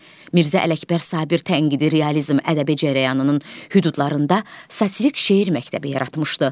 Mirzə Ələkbər Sabir tənqidi realizm ədəbi cərəyanının hüdudlarında satirik şeir məktəbi yaratmışdı.